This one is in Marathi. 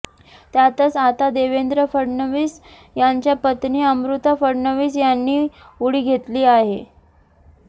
त्यातच आता देवेंद्र फडणवीस यांच्या पत्नी अमृता फडणवीस यांनी उडी घेतली आहे